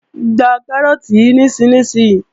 Gba Kárọ́ọ̀tì yí nísinsìnyí!